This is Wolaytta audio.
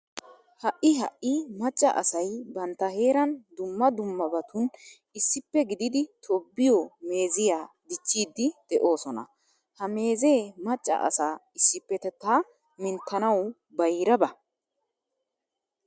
Ha"i ha"i macca asay bantta heeran dumma dummabatun issippe gididi tobbiyo meeziya dichchiiddi de'oosona. Ha meezee macca asaa issippetettaa minttanawu bayraba.